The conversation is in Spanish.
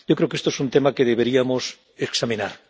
Yo creo que esto es un tema que deberíamos examinar.